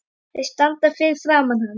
Þeir standa fyrir framan hana.